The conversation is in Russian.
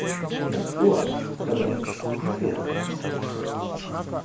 но стюарт казалось смутился